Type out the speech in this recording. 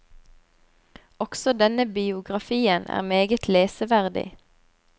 Også denne biografien er meget leseverdig.